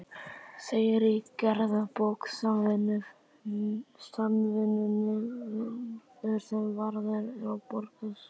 segir í gerðabók Samvinnunefndar, sem varðveitt er á Borgarskjalasafni.